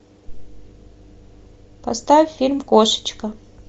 поставь фильм кошечка